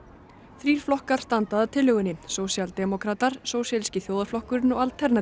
þrír flokkar standa að tillögunni sósíaldemókratar sósíalíski þjóðarflokkurinn og